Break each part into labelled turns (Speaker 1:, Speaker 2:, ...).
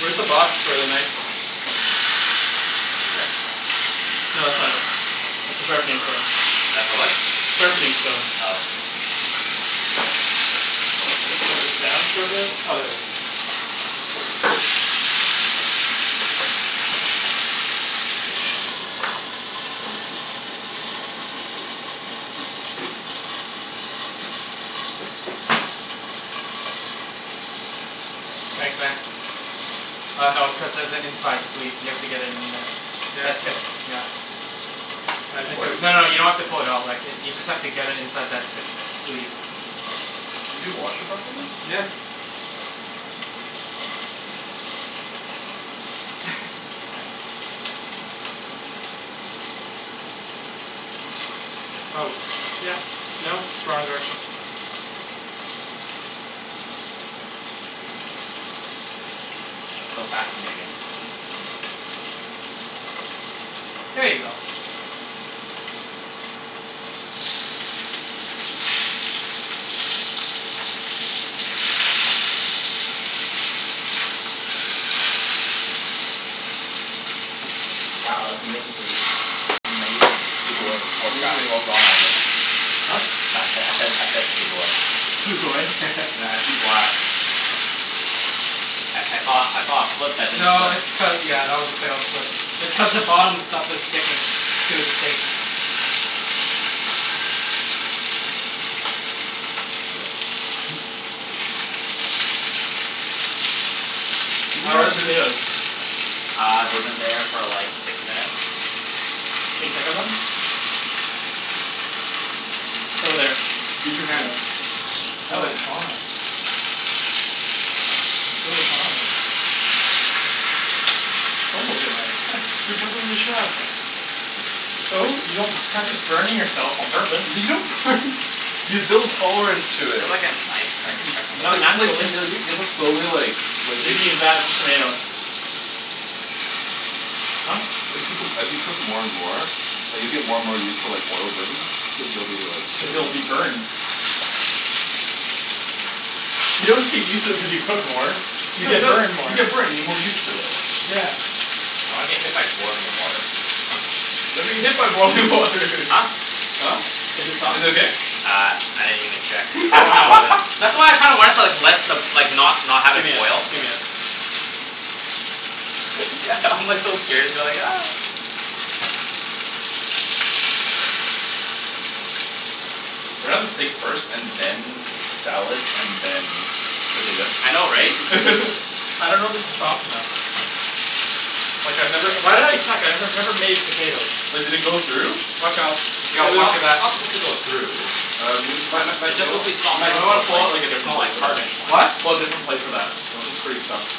Speaker 1: Where's the box for the knife?
Speaker 2: Over there?
Speaker 1: No that's not it, that's the sharpening stone.
Speaker 2: That's the what?
Speaker 1: Sharpening stone.
Speaker 2: Oh.
Speaker 1: Put this down for a bit. Oh there it is.
Speaker 3: Thanks, man. Uh no, cuz there's an inside sleeve, you have to get it in there.
Speaker 1: Yeah, it's
Speaker 3: That
Speaker 1: not
Speaker 3: tip, yeah.
Speaker 1: I
Speaker 4: There
Speaker 1: think
Speaker 4: was?
Speaker 1: it's
Speaker 3: No no, you don't have to fold it out. Like if you just have to get it inside that tip sleeve.
Speaker 4: Did you wash it properly?
Speaker 1: Yeah. Oh yeah no it's wrong direction.
Speaker 2: So fascinating.
Speaker 3: There you go.
Speaker 4: Wow that's amazing.
Speaker 2: Amazing. Sugoi.
Speaker 4: It's
Speaker 2: Oh crap,
Speaker 4: amazing.
Speaker 2: oh wrong language.
Speaker 1: Huh?
Speaker 2: No I said I said I said sugoi.
Speaker 1: Sugoi?
Speaker 4: Matt, I see black.
Speaker 2: I I thought I thought it flipped but it didn't
Speaker 3: No
Speaker 2: flip.
Speaker 3: it's cu- yeah that was a fail but it's cuz the bottom stuff is sticking to the steak.
Speaker 4: Yeah. Did we
Speaker 1: How are the
Speaker 4: let that finish?
Speaker 1: potatoes?
Speaker 2: Uh they've been there for like six minutes.
Speaker 1: Can you check 'em then? It's over there.
Speaker 4: Use
Speaker 1: Over
Speaker 4: your hand.
Speaker 1: there. No, it's
Speaker 4: Hand.
Speaker 1: hot. It's really hot. Don't look at me like that.
Speaker 4: You're driving with a chef.
Speaker 1: So? You don't practice burning yourself on purpose.
Speaker 4: L- you don't burn you build tolerance to
Speaker 2: Do you
Speaker 4: it.
Speaker 2: have like a knife so I can check on
Speaker 1: N-
Speaker 4: It's
Speaker 1: not
Speaker 4: like
Speaker 2: this?
Speaker 4: you like
Speaker 1: naturally.
Speaker 4: you have to slowly like like
Speaker 1: You can use that, just tomato. Huh?
Speaker 4: As you cook 'em as you cook more and more like you'll get more and more used to like oil burns cuz you'll be like
Speaker 1: Cuz you'll be burned. You don't get used to it cuz you cook more. You
Speaker 4: No you
Speaker 1: get
Speaker 4: no
Speaker 1: burned more.
Speaker 4: you get burned you get more used to it.
Speaker 1: Yeah.
Speaker 2: I don't wanna get hit by boiling water.
Speaker 4: You're not gonna get hit by boiling water
Speaker 2: Huh?
Speaker 4: Huh?
Speaker 1: Is it soft?
Speaker 4: Is it okay?
Speaker 2: Uh I didn't even check cuz it's like
Speaker 1: Wow.
Speaker 2: boiling. That's why I kinda wanted to like let the like not not have it
Speaker 1: Gimme it,
Speaker 2: boil.
Speaker 1: gimme it.
Speaker 2: It's g- I'm like so scared. I'm like
Speaker 4: We're gonna have the steak first and then salad and then
Speaker 2: I know, right?
Speaker 4: potatoes.
Speaker 1: I dunno if this is soft enough. Like I've never- why did I check? I've never made potatoes.
Speaker 4: But did they go through?
Speaker 3: Watch out. Yo, watch
Speaker 2: It's-
Speaker 3: your
Speaker 2: it's
Speaker 3: back.
Speaker 2: not supposed to go through.
Speaker 4: Uh m- Matt- Matt-
Speaker 2: It's
Speaker 4: Matt- you
Speaker 2: just
Speaker 4: know
Speaker 2: supposed to be
Speaker 4: what?
Speaker 2: soft
Speaker 4: Matt you
Speaker 2: enough
Speaker 4: know
Speaker 2: so
Speaker 4: what?
Speaker 2: it's
Speaker 4: Pull
Speaker 2: like
Speaker 4: out like a
Speaker 2: it's
Speaker 4: different
Speaker 2: not like
Speaker 4: plate for
Speaker 2: hard
Speaker 4: that.
Speaker 2: anymore.
Speaker 3: What?
Speaker 4: Pull out a different plate for that. That one's pretty stuffed.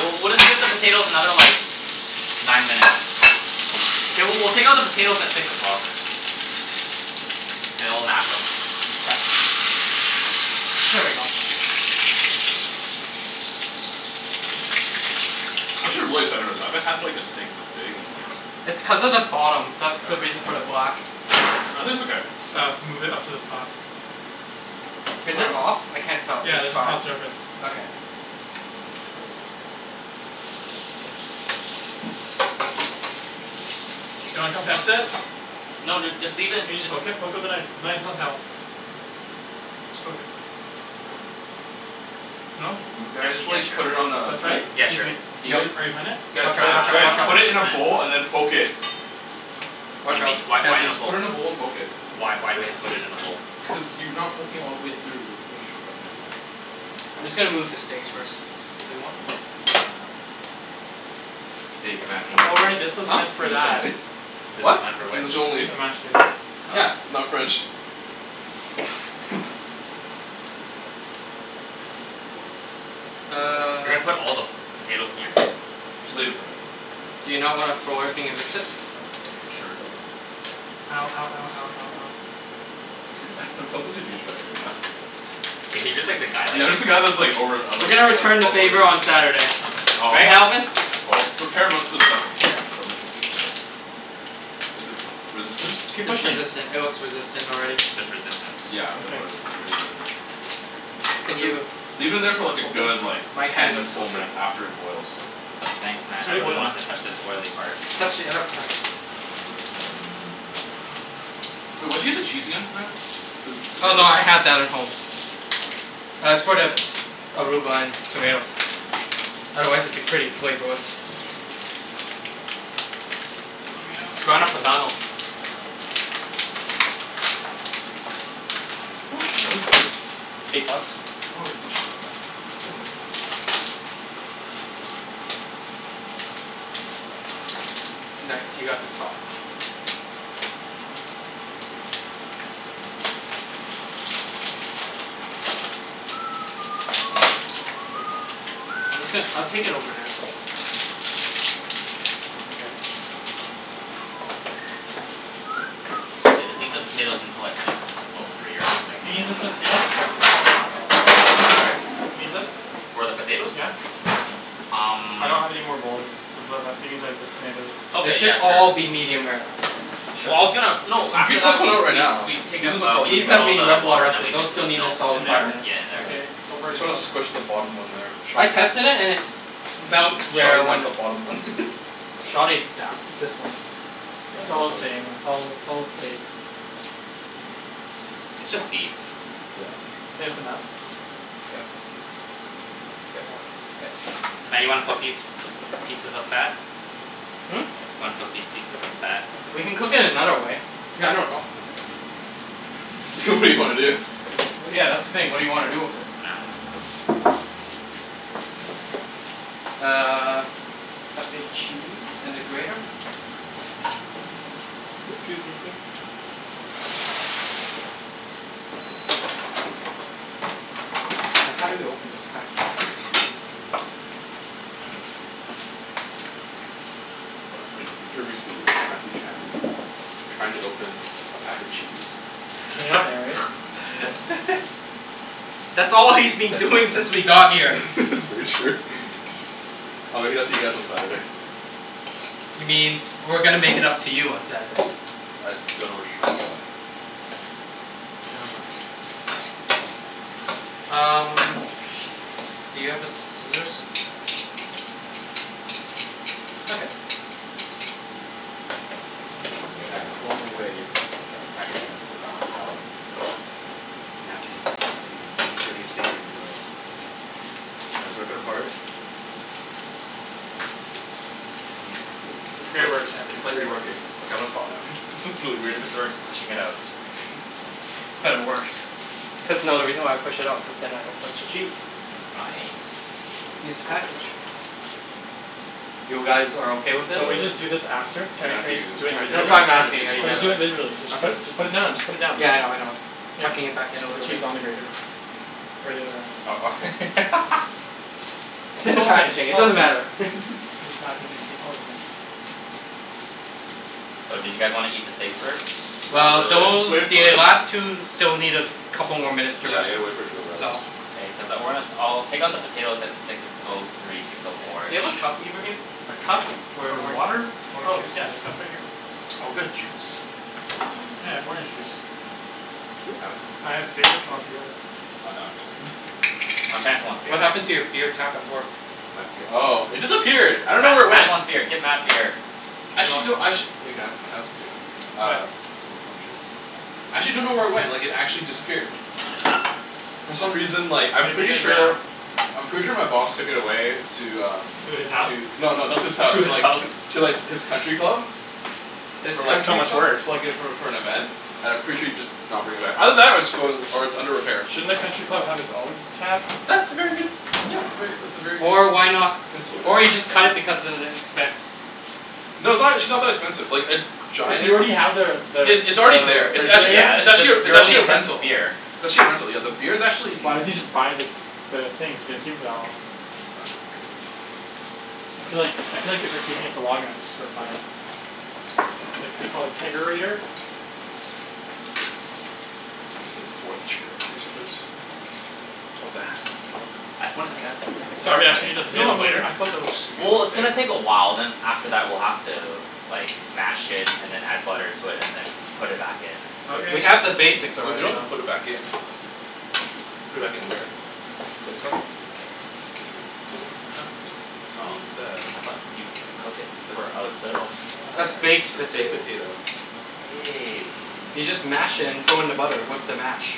Speaker 2: We'll- we'll take out the potatoes another like nine minutes. Mkay, w- we'll take out the potatoes at six o'clock. And then we'll mash 'em.
Speaker 3: Here we go.
Speaker 4: I should really settle with that, I haven't had like a steak this big in like-
Speaker 3: It's cuz of the bottom. That's the reason
Speaker 4: Forever.
Speaker 3: for the black.
Speaker 4: No, I think it's okay.
Speaker 1: Uh, move it up to the top.
Speaker 3: Is it off? I can't tell.
Speaker 1: Yeah,
Speaker 3: It's
Speaker 1: this is
Speaker 3: five.
Speaker 1: hot surface.
Speaker 3: Okay.
Speaker 1: Do you wanna come test it?
Speaker 2: No dude, just leave it.
Speaker 1: Can you just poke it? Poke with a knife. The knife is on the shelf Just poke it. No?
Speaker 2: Actually yeah, sure.
Speaker 4: put it on a-
Speaker 1: That's right?
Speaker 2: Yeah, sure.
Speaker 1: Are you are you hunnid?
Speaker 4: Guys,
Speaker 3: Watch
Speaker 2: Uh,
Speaker 3: out,
Speaker 4: guys,
Speaker 3: watch, out
Speaker 2: I'm
Speaker 4: guys.
Speaker 3: watch
Speaker 2: not
Speaker 3: out.
Speaker 2: one
Speaker 4: Put
Speaker 2: hundred
Speaker 4: it in a
Speaker 2: percent
Speaker 4: bowl and then poke it.
Speaker 2: What do you mean? Why- why in this
Speaker 4: Just
Speaker 2: bowl?
Speaker 4: put it in a bowl and poke it.
Speaker 2: Why- why we have to put it in a bowl?
Speaker 4: Cuz you are not poking all the way through.
Speaker 3: I'm just gonna move the steaks first. excusez-moi.
Speaker 4: Hey Matt, English
Speaker 1: Oh
Speaker 4: only.
Speaker 1: right, this was
Speaker 3: Huh?
Speaker 1: meant for
Speaker 4: English
Speaker 1: that.
Speaker 4: only.
Speaker 2: This
Speaker 3: What?
Speaker 2: is not for which?
Speaker 4: English only.
Speaker 1: For the mashed potatoes.
Speaker 3: Yeah.
Speaker 2: Oh.
Speaker 3: Not French.
Speaker 2: Uh. You're gonna put all the potatoes in here?
Speaker 4: Just leave it
Speaker 3: Do you not wanna throw everything and mix it?
Speaker 4: Sure go
Speaker 1: Ow, ow, ow, ow, ow, ow.
Speaker 4: I sound like a douche bag right now.
Speaker 2: Yeah. He's just the guy, like
Speaker 4: Yeah. I'm
Speaker 2: he's
Speaker 4: just the guy
Speaker 2: all-
Speaker 4: that's like over- I'm
Speaker 3: We're
Speaker 4: like-
Speaker 3: gonna
Speaker 4: I'm
Speaker 3: return
Speaker 4: like
Speaker 3: the
Speaker 4: overlooking.
Speaker 3: favor on Saturday. Right,
Speaker 2: Oh,
Speaker 3: Alvin?
Speaker 2: of course.
Speaker 4: prepare most of the stuff beforehand, don't worry too much about it. Is it resistance?
Speaker 1: Keep
Speaker 3: It's
Speaker 1: pushing.
Speaker 3: resistant. It looks resistant already.
Speaker 2: There's resistance.
Speaker 4: Yeah, I'm gonna
Speaker 1: Okay.
Speaker 4: put it, then leave it in there.
Speaker 3: Can you
Speaker 4: Leave it in there for like a
Speaker 3: open?
Speaker 4: good, like,
Speaker 3: My hands are
Speaker 4: ten full
Speaker 3: slippery.
Speaker 4: minutes after it boils.
Speaker 2: Thanks
Speaker 1: It's
Speaker 2: Matt, I
Speaker 1: already
Speaker 2: really
Speaker 1: boiling.
Speaker 2: want to touch this oily part.
Speaker 3: Touch the other part.
Speaker 4: Wait, where did you get the cheese again Matt? For the
Speaker 3: Oh
Speaker 4: potatoes?
Speaker 3: no, I had that at home. Uh, it's for the arugula and tomatoes. Otherwise it'd be pretty flavorless.
Speaker 1: Lemme out,
Speaker 3: Grana
Speaker 1: lemme
Speaker 3: Padano.
Speaker 1: out.
Speaker 4: How much is this?
Speaker 3: Eight bucks.
Speaker 4: Oh, that's actually not that bad.
Speaker 3: Nice, you got the top. Here you go. I'm just gon- I'll take it over there so it's not-
Speaker 1: Mkay.
Speaker 2: Yeah. Just leave the potatoes until like six or nine minutes
Speaker 1: Can I use this for the potatoes? Can I use this?
Speaker 2: For the potatoes?
Speaker 1: Yeah.
Speaker 2: Um.
Speaker 1: I don't have any more bowls, cuz that- that's being used by the tomatoes.
Speaker 3: They
Speaker 2: Okay,
Speaker 3: should
Speaker 2: yeah sure.
Speaker 3: all be medium rare.
Speaker 2: Well I was gonna... No,
Speaker 4: You
Speaker 2: after
Speaker 4: could
Speaker 2: that
Speaker 4: do
Speaker 2: we-
Speaker 4: it right
Speaker 2: we-
Speaker 4: now.
Speaker 2: we take out- we
Speaker 3: These
Speaker 2: take out
Speaker 3: have
Speaker 2: all
Speaker 3: been in
Speaker 2: the
Speaker 3: the
Speaker 2: water
Speaker 3: water.
Speaker 2: and then we
Speaker 3: Those
Speaker 2: mix it
Speaker 3: still
Speaker 2: with
Speaker 3: need a
Speaker 2: milk. Yeah
Speaker 1: In
Speaker 3: solid five
Speaker 1: there?
Speaker 3: minutes.
Speaker 2: in there.
Speaker 1: Okay, don't
Speaker 4: You
Speaker 1: burn
Speaker 4: need to
Speaker 1: yourself.
Speaker 4: squish the bottom one there.
Speaker 3: I tested it and it felt rare
Speaker 4: Sorry
Speaker 3: when
Speaker 4: about
Speaker 3: I-
Speaker 4: the bottom one.
Speaker 3: Shove it down.
Speaker 1: This one. It's all the same.
Speaker 4: Yeah
Speaker 1: It's all- it's all steak.
Speaker 2: It's just beef.
Speaker 4: Yeah.
Speaker 1: Think that's enough?
Speaker 4: Yeah. Yep. It's Okay.
Speaker 2: Matt, you wanna cook these pieces of fat?
Speaker 3: Hmm?
Speaker 2: Want to cook these pieces of fat?
Speaker 3: We can cook it another way. I dunno.
Speaker 4: It's okay. good idea.
Speaker 3: Well yeah that's the thing. What do you wanna do with it? Uh. Pass me the cheese and the grater. Just, scusi, sir How do you open this package?
Speaker 4: Here we see Matthew Chan, trying to open a pack of cheese.
Speaker 1: Can you not narrate?
Speaker 3: That's all he's been doing since we got here.
Speaker 4: That's very true. I'll make it up to you guys on Saturday.
Speaker 3: You mean we're gonna make it up to you on Saturday.
Speaker 4: I dunno what you're talking about.
Speaker 3: Nevermind. Um, where is the thing? Do you have the scissors? I got it.
Speaker 4: You see Matt clawing away at the packaging of the Grana Padano. Now he's- he's entering his steak knife into it. He trying to rip it apart. And he's
Speaker 1: This is- this is
Speaker 4: it's
Speaker 1: great
Speaker 4: slight-
Speaker 1: work Chan,
Speaker 4: it's
Speaker 1: it's
Speaker 4: slightly
Speaker 1: great work.
Speaker 4: working. Okay, I'm gonna stop now, this is really
Speaker 2: He's
Speaker 4: weird.
Speaker 2: sort to pushing it out.
Speaker 3: But it works. Cuz- no, the reason why I pushed it out cuz then I don't touch the cheese.
Speaker 2: Nice.
Speaker 3: Just the package. You guys are okay with
Speaker 4: It's,
Speaker 3: this?
Speaker 1: So
Speaker 4: uh,
Speaker 1: we
Speaker 4: this
Speaker 1: just do this
Speaker 4: is
Speaker 1: after? Can we- can we just
Speaker 4: Matthew
Speaker 1: do it
Speaker 4: tryin'-
Speaker 3: That's
Speaker 1: individually?
Speaker 3: why I'm
Speaker 4: tryin' to be
Speaker 3: asking,
Speaker 4: a
Speaker 3: are you
Speaker 4: smart
Speaker 1: Let's
Speaker 3: guys
Speaker 1: just
Speaker 4: ass.
Speaker 1: do
Speaker 3: o-
Speaker 1: it individually. Just put- just put it now, just put it down.
Speaker 3: okay?.Yeah I know I know. Tucking it back
Speaker 1: you
Speaker 3: in a
Speaker 1: should put
Speaker 3: little bit.
Speaker 1: cheese on the grater. Is the other way around,
Speaker 2: uh-oh.
Speaker 1: cool.
Speaker 3: It's
Speaker 1: It's
Speaker 3: in the
Speaker 1: all the same,
Speaker 3: packaging,
Speaker 1: it's
Speaker 3: it
Speaker 1: all the
Speaker 3: doesn't
Speaker 1: same.
Speaker 3: matter.
Speaker 1: It's just packaging, so it's all the same.
Speaker 2: So, do you guys wanna eat the steaks first?
Speaker 4: Not
Speaker 3: Well
Speaker 4: really,
Speaker 3: those-
Speaker 4: wait for
Speaker 3: the
Speaker 4: it to rest.
Speaker 3: last two still need a couple more minutes to
Speaker 4: Yeah I
Speaker 3: rest,
Speaker 4: gotta wait for it to rest.
Speaker 3: so-
Speaker 2: K, Cuz I- we're gonna- I'll take out the potatoes at six O three, six O four.
Speaker 3: Do you have a cup, Ibrahim?
Speaker 1: A cup
Speaker 3: For
Speaker 1: for
Speaker 3: orange
Speaker 1: water?
Speaker 3: orange
Speaker 1: Oh
Speaker 3: juice.
Speaker 1: yeah there's cups right here.
Speaker 4: Oh, got juice?
Speaker 1: Yeah, I have orange juice.
Speaker 3: Can I have some?
Speaker 1: I have beer if you want beer.
Speaker 2: Oh, Chancey wants beer.
Speaker 3: What happened to your beer tap at work?
Speaker 4: My bee- Oh it disappeared I dunno
Speaker 2: Matt-
Speaker 4: where it
Speaker 2: Matt
Speaker 4: went.
Speaker 2: wants beer. Get Matt beer.
Speaker 4: Actually I do- Actually- Can I have- can I
Speaker 1: What?
Speaker 4: have some too? Actually dunno where it went, like it actually disappeared. For some reason, like, I'm
Speaker 1: Maybe you
Speaker 4: pretty
Speaker 1: guys ran out.
Speaker 4: sure- I'm pretty sure my boss took it away to, um.
Speaker 1: To his house?
Speaker 4: No, no, not to his house.
Speaker 2: To the Alps
Speaker 4: To like
Speaker 3: His
Speaker 4: his country
Speaker 3: country club?
Speaker 4: club. I was
Speaker 1: That's
Speaker 4: like for-
Speaker 1: so much worse.
Speaker 4: like for like - for- for an event. And I'm pretty sure he'd just not bring it back. Either that or it's going- or it's under repair.
Speaker 1: Shouldn't a country club have its own tap?
Speaker 4: That's a very good- , that's very that's a very good
Speaker 3: Or
Speaker 4: idea,
Speaker 3: why
Speaker 4: kind of
Speaker 3: not-
Speaker 4: potential, yeah.
Speaker 3: or he just cut it
Speaker 4: Thank you.
Speaker 3: because of the expense.
Speaker 4: No, it's actually not that expensive. Like a
Speaker 1: If
Speaker 4: giant-
Speaker 1: you already have the- the-
Speaker 4: it's already
Speaker 1: the
Speaker 4: there. It's actually-
Speaker 2: Yeah
Speaker 1: refrigerator.
Speaker 4: it's
Speaker 2: it's just
Speaker 4: actually a- it's
Speaker 2: your really
Speaker 4: actually a
Speaker 2: expensive
Speaker 4: rental.
Speaker 2: beer.
Speaker 4: It's actually a rental, yeah. The beer's actuall
Speaker 1: Why doesn't
Speaker 4: n-
Speaker 1: he just buy the- the thing if he's gonna keep it for that long?
Speaker 4: I'm like- -
Speaker 1: I feel like- I feel like if you're keeping it for long enough it's just worth buying it. Like it's called a Kegerator?
Speaker 4: chair for this place.
Speaker 2: I pointed that out to the second
Speaker 1: Sorry, I should eat the
Speaker 2: I-
Speaker 4: No
Speaker 1: potatoes
Speaker 4: no,
Speaker 1: later?
Speaker 4: I thought that was...
Speaker 2: Well it's gonna take a while, then after that we're gonna have to, like, mash it then add butter and then put it back in.
Speaker 1: Okay.
Speaker 3: We have the basics
Speaker 4: We
Speaker 3: already.
Speaker 4: don't have to put it back in. Put it back in there. You don't have to do that.
Speaker 2: I thought you cook it for a little more.
Speaker 4: That's baked
Speaker 3: Baked potatoes.
Speaker 4: potato.
Speaker 2: Okay.
Speaker 3: You just mash it and throw in the butter with the mash.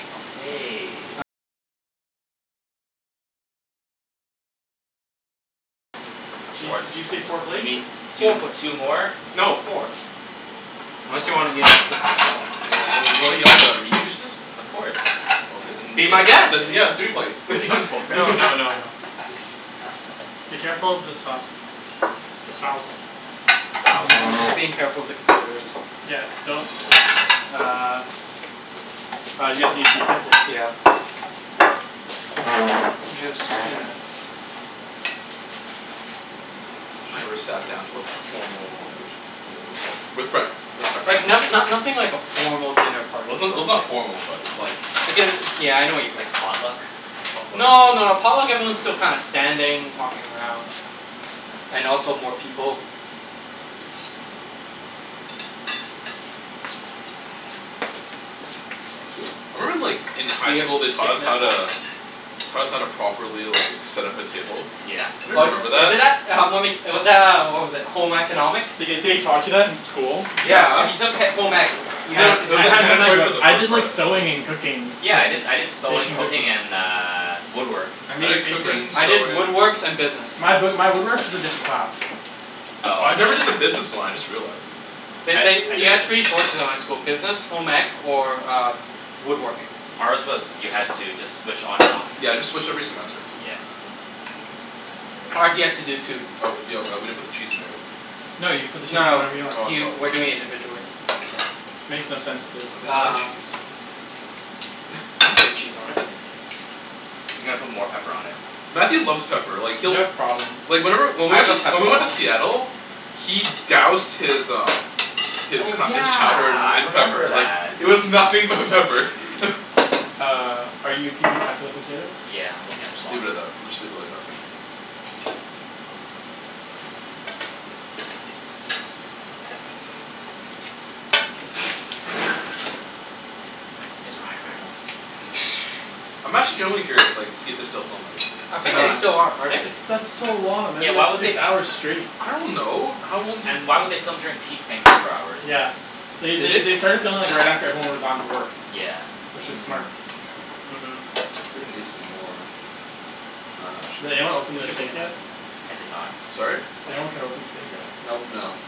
Speaker 1: Di- did you say four
Speaker 2: Or y- you
Speaker 1: plates?
Speaker 2: mean two
Speaker 3: Four plates.
Speaker 2: two more?
Speaker 3: No, four.
Speaker 4: Ya, wan- wan- you wanna eat all the meat juices?
Speaker 2: Of course.
Speaker 3: Be my guest.
Speaker 4: Then
Speaker 2: I'm kidding.
Speaker 4: yeah, three plates.
Speaker 2: We already got four.
Speaker 1: No, no, no, no. Be careful with the sauce. The sauce.
Speaker 2: Sauce.
Speaker 3: I'm being careful of the computers.
Speaker 1: Yeah, don't.
Speaker 3: Uh-
Speaker 1: Uh, you guys need the utensils
Speaker 3: Yeah.
Speaker 1: too.
Speaker 3: I'm just, you know.
Speaker 4: I never
Speaker 2: Nice.
Speaker 4: sat down to like formal home cooked meal before with friends with friends.
Speaker 3: Like not no- nothing like a formal dinner
Speaker 4: Well
Speaker 3: party
Speaker 4: it's
Speaker 3: sort
Speaker 4: n-
Speaker 3: of
Speaker 4: it's not
Speaker 3: thing.
Speaker 4: formal but it's like-
Speaker 3: Like a- yeah I know what you mean.
Speaker 2: Like potluck?
Speaker 4: Potluck?
Speaker 3: No, no, a potluck everyone's still kinda standing, talking around. And also more people.
Speaker 2: Thank you.
Speaker 4: I remember in like in high school they
Speaker 3: Taught
Speaker 4: taught
Speaker 3: us
Speaker 4: us
Speaker 3: how
Speaker 4: how
Speaker 3: to-
Speaker 4: to- Taught us how to properly, like, set up a table.
Speaker 2: Yeah.
Speaker 3: Oh,
Speaker 4: Anybody remember
Speaker 3: is
Speaker 4: that?
Speaker 3: it that- uh uh, was that, uh, what was it, Home Economics?
Speaker 1: The- the- they taught you that in school?
Speaker 3: Yeah,
Speaker 4: Yeah
Speaker 3: if you took he- home ec, you
Speaker 4: No,
Speaker 1: I-
Speaker 4: no,
Speaker 3: had to
Speaker 4: it
Speaker 3: do
Speaker 4: was,
Speaker 1: I
Speaker 4: like,
Speaker 3: that
Speaker 1: had home ec
Speaker 4: mandatory for
Speaker 3: stuff.
Speaker 1: but
Speaker 4: the
Speaker 1: I did
Speaker 4: first part
Speaker 1: like
Speaker 4: I
Speaker 1: sewing
Speaker 4: think.
Speaker 1: and cooking
Speaker 2: Yeah. I did-
Speaker 1: cookies,
Speaker 2: I did sewing,
Speaker 1: baking
Speaker 2: cooking,
Speaker 1: cookies.
Speaker 2: and uh, woodworks.
Speaker 1: I made an
Speaker 4: I did
Speaker 1: apron.
Speaker 4: cooking,
Speaker 3: I did
Speaker 4: sewing.
Speaker 3: woodworks and business.
Speaker 1: My b- my woodwork is a different class.
Speaker 4: I
Speaker 2: Oh.
Speaker 4: never did the business one, I just realized.
Speaker 2: I
Speaker 3: They-
Speaker 2: I did
Speaker 3: they- you had
Speaker 2: the
Speaker 3: three
Speaker 2: business.
Speaker 3: choices at my school. Business, home ec, or woodworking.
Speaker 2: Ours was you had to just switch on and off.
Speaker 4: Yeah, I just switch every semester.
Speaker 2: Yeah.
Speaker 3: Ours, you had to do two.
Speaker 4: Oh, yo, uh, we didn't put the cheese in there yet.
Speaker 1: No, you put the cheese
Speaker 3: No, no,
Speaker 1: whenever you want.
Speaker 3: he
Speaker 4: Oh
Speaker 3: we're doing it
Speaker 4: I'm sorry.
Speaker 3: individually.
Speaker 1: Makes no sense
Speaker 4: Can
Speaker 1: to-
Speaker 4: somebody get the
Speaker 3: Uh.
Speaker 4: cheese?
Speaker 3: I'm putting cheese on it.
Speaker 2: He's gonna put more pepper on it.
Speaker 4: Matthew loves pepper. Like
Speaker 1: You
Speaker 4: he'll-
Speaker 1: have problem.
Speaker 4: Like whenever- when
Speaker 3: I
Speaker 4: we went
Speaker 3: have a
Speaker 4: to-
Speaker 3: pepper
Speaker 4: when we went to
Speaker 3: problem.
Speaker 4: Seattle- He doused his, um His
Speaker 2: Oh
Speaker 4: co- his chowder
Speaker 2: yeah, I
Speaker 4: in
Speaker 2: remember
Speaker 4: pepper, like,
Speaker 2: that.
Speaker 4: it was nothing but pepper.
Speaker 1: Uh, are you keeping track of the potatoes?
Speaker 2: Yeah, I'm looking at the
Speaker 1: Okay.
Speaker 2: clock.
Speaker 4: Leave it at that. Let's just leave it like that for now.
Speaker 2: It's Ryan Reynolds.
Speaker 4: I'm actually genuinely curious, like, to see if they're still filming.
Speaker 3: I
Speaker 1: They're
Speaker 3: think they
Speaker 1: not.
Speaker 3: still are. Are they?
Speaker 1: It's- that's so long that'd
Speaker 2: Yeah,
Speaker 1: be like
Speaker 2: why would they
Speaker 1: six
Speaker 2: f-
Speaker 1: hours straight.
Speaker 4: I don't know. How long do-
Speaker 2: And why would they film during peak Vancouver hours?
Speaker 1: Yeah. They-
Speaker 3: Did
Speaker 1: they-
Speaker 3: they?
Speaker 1: they started filming right after, like, everyone would've gone to work.
Speaker 2: Yeah.
Speaker 1: Which is smart.
Speaker 3: uh-huh
Speaker 4: I'm gonna need some more- I dunno, actually
Speaker 1: Did anyone open
Speaker 3: It
Speaker 1: the
Speaker 3: should be
Speaker 1: steak
Speaker 3: enough.
Speaker 1: yet?
Speaker 2: I did not.
Speaker 4: Sorry?
Speaker 1: Did anyone cut open the steak yet?
Speaker 3: Nope.
Speaker 4: No.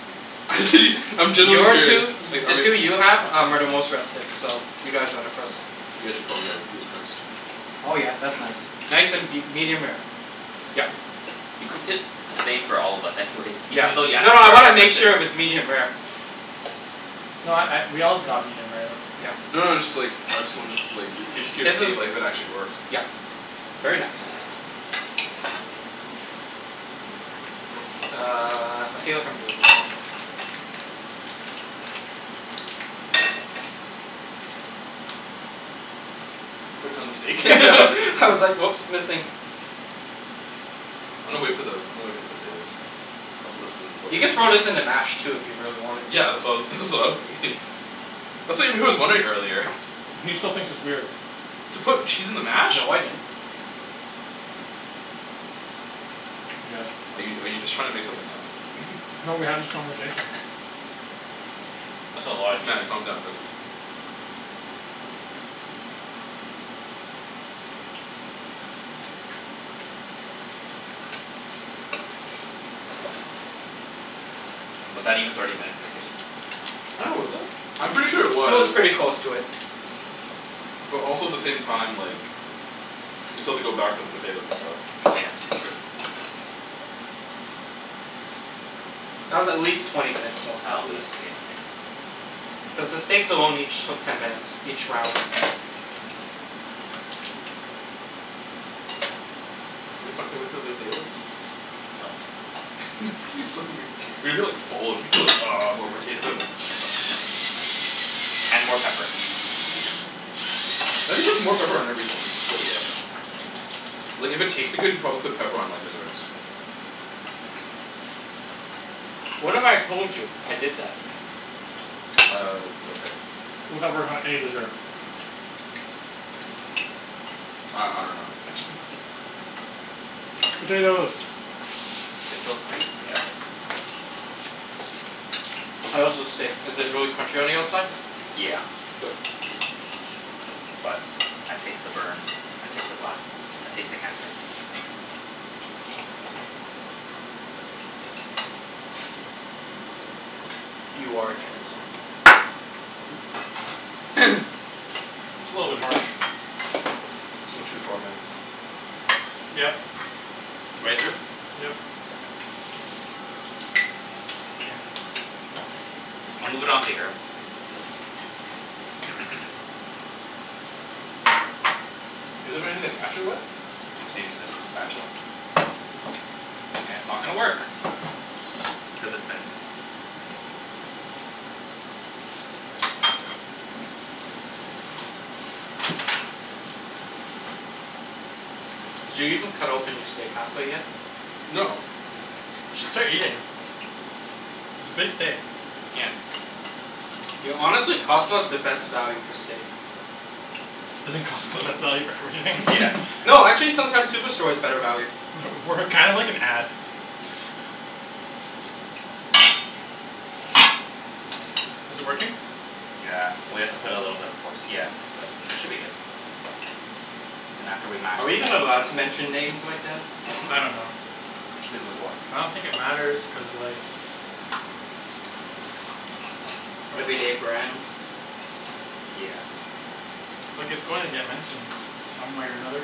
Speaker 4: Actually I'm genuinely
Speaker 3: Your
Speaker 4: curious
Speaker 3: two, i-
Speaker 4: Like
Speaker 3: the
Speaker 4: are we-
Speaker 3: two you have are the most rested, so you guys are the first.
Speaker 4: You guys should probably, like, do it first.
Speaker 3: Oh yeah, that's nice. Nice and be- medium rare. Yep.
Speaker 2: You cooked it the same for all of us anyways.
Speaker 3: Yeah.
Speaker 2: Even thought you asked
Speaker 3: No,
Speaker 2: us
Speaker 3: no
Speaker 2: for
Speaker 3: I
Speaker 2: our
Speaker 3: wanna make
Speaker 2: preferences.
Speaker 3: sure if it's medium rare.
Speaker 1: No I- I we all got medium rare though.
Speaker 3: Yeah.
Speaker 4: No, no it's just, like, I just wanna, like, I was just curious
Speaker 3: His
Speaker 4: to see if
Speaker 3: is-
Speaker 4: like if it actually works.
Speaker 3: yep very nice. Uh, I feel like I'm doing this wrong.
Speaker 4: You putting it on the steak?
Speaker 3: I was like oops, missing.
Speaker 4: I'ma wait for the- I'ma wait for the potatoes. I'm solicited in
Speaker 3: You
Speaker 4: the
Speaker 3: could throw
Speaker 4: toilet.
Speaker 3: this in the mash too if you really wanted to.
Speaker 4: Yeah. That's what I was that's what I was thinking. That's what Ibrahim was wondering earlier.
Speaker 1: He still thinks it's weird.
Speaker 4: To put cheese in the mash?
Speaker 3: No, I didn't.
Speaker 1: He does.
Speaker 4: Are you are you just trying to make something up?
Speaker 1: No, we had this conversation.
Speaker 2: That's a lotta
Speaker 4: Matt,
Speaker 2: cheese.
Speaker 4: calm down buddy.
Speaker 2: Was that even thirty minutes in the kitchen?
Speaker 4: I dunno was it? I'm pretty sure it
Speaker 3: It was
Speaker 4: was.
Speaker 3: pretty close to it.
Speaker 4: But also the same time like We still have to go back for the potatoes and stuff.
Speaker 2: Yeah. That's true.
Speaker 3: That was at least twenty minutes long, at least. Cuz the steaks alone each took ten minutes, each round.
Speaker 4: You guys can't wait for the potatoes? It's gonna be so weir- you're gonna be like full and be like "Ah more potatoes."
Speaker 2: And more pepper.
Speaker 4: Matt just puts more pepper on everything, I swear to God. Like if it tasted good, he'd probably put pepper on like desserts.
Speaker 3: What if I told you I did that?
Speaker 4: Uh, okay.
Speaker 1: How that works on any dessert?
Speaker 4: I- I dunno
Speaker 1: Potatoes.
Speaker 2: Six O three? Yeah, okay.
Speaker 3: How is the steak? Is it really crunchy on the outside?
Speaker 2: Yeah.
Speaker 3: Good.
Speaker 2: But I taste the burn. I taste the black. I taste the cancer.
Speaker 3: You are a cancer.
Speaker 1: It's a little bit harsh.
Speaker 4: It's going too far man.
Speaker 1: Yep.
Speaker 2: Right through?
Speaker 1: Yep. Mkay.
Speaker 2: I'll move it onto here.
Speaker 4: Want anything to mash it with?
Speaker 2: I'm just gonna use this spatula. And it's not gonna work cuz it bends.
Speaker 3: Did you even cut open your steak half way yet?
Speaker 4: No.
Speaker 1: We should start eating. It's a big steak.
Speaker 2: Yeah.
Speaker 3: Yo, honestly, Costco is the best value for steak.
Speaker 1: Isn't Costco the best value for everything?
Speaker 2: Yeah.
Speaker 3: No, actually sometimes Superstore is better value.
Speaker 1: We're kind of like an ad. Is it working?
Speaker 2: Yeah. Well, you have to put a little bit of force, yeah. But, should be good. Then after we mash
Speaker 3: Are we
Speaker 2: them
Speaker 3: even allowed
Speaker 2: all.
Speaker 3: to mention names like that?
Speaker 1: I don't know.
Speaker 4: Mention names like what?
Speaker 1: I don't think it matters cuz like.
Speaker 3: Everyday brands?
Speaker 2: Yeah.
Speaker 1: Like it's going to get mentioned some way or another.